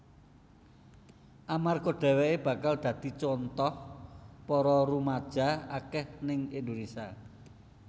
Amarga dheweké bakal dadi contoh para rumaja akeh ning Indonésia